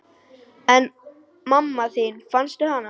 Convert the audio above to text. En mamma þín, fannstu hana?